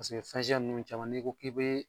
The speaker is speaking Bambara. Paseke fɛn siya ninnu caman n'i ko k'i bɛ